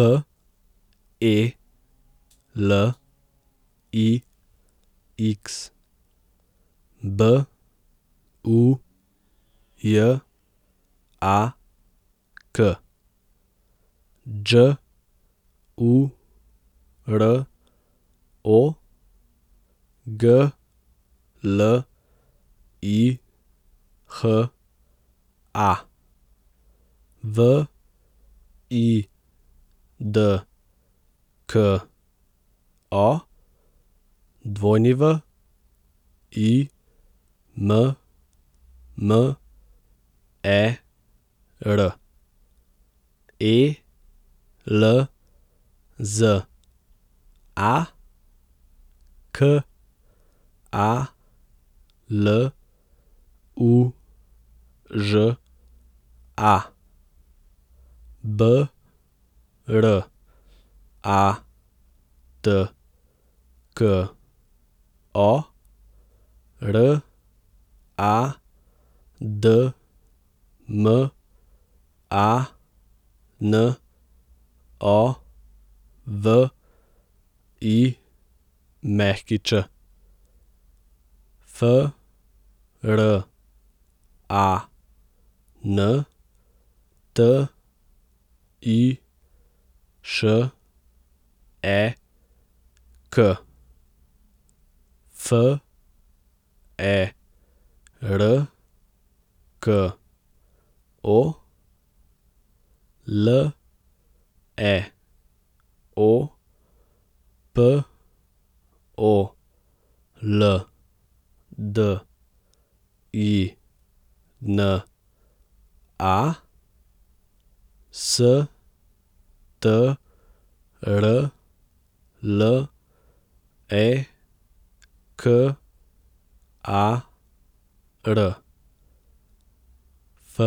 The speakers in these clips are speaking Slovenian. F E L I X, B U J A K; Đ U R O, G L I H A; V I D K O, W I M M E R; E L Z A, K A L U Ž A; B R A T K O, R A D M A N O V I Ć; F R A N T I Š E K, F E R K O; L E O P O L D I N A, S T R L E K A R; F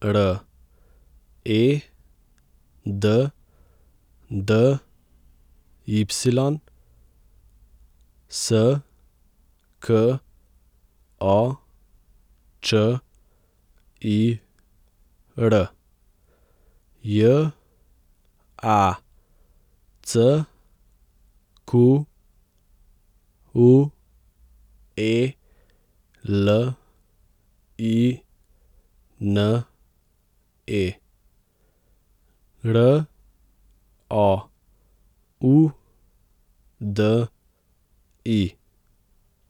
R E D D Y, S K O Č I R; J A C Q U E L I N E, R O U D I.